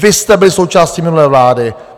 Vy jste byli součástí minulé vlády.